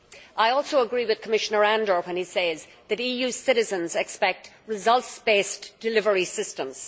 I also agree with Commissioner Andor when he says that EU citizens expect results based delivery systems.